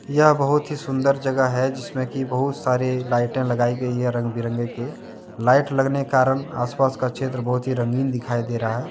यह बहुत ही सुंदर जगह हैजिसमें बहुत सारी लाइटें लगाई गई है रंग बीरंगे के। लाइट लगने के कारण आसपास का क्षेत्र बहुत ही रंगीन दिखाई दे रहा है।